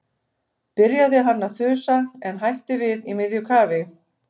.- byrjaði hann að þusa en hætti við í miðju kafi.